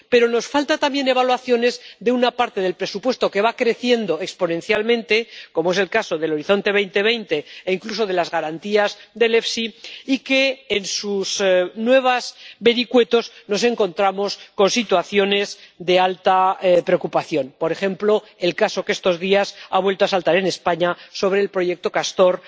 pero nos faltan también evaluaciones de una parte del presupuesto que va creciendo exponencialmente, como es el caso de Horizonte 2020 e, incluso, de las garantías del FEIE, y en cuyos nuevos vericuetos nos encontramos con situaciones de honda preocupación por ejemplo, el caso que estos días ha vuelto a saltar en España sobre el proyecto Castor